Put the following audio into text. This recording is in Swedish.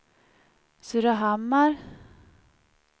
Surahammar